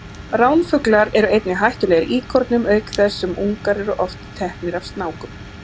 Ránfuglar eru einnig hættulegir íkornum auk þess sem ungar eru oft teknir af snákum.